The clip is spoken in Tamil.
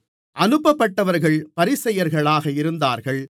அனுப்பப்பட்டவர்கள் பரிசேயர்களாக இருந்தார்கள்